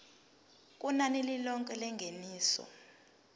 kunani lilonke lengeniso